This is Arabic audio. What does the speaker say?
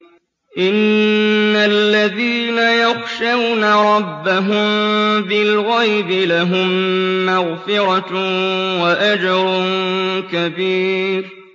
إِنَّ الَّذِينَ يَخْشَوْنَ رَبَّهُم بِالْغَيْبِ لَهُم مَّغْفِرَةٌ وَأَجْرٌ كَبِيرٌ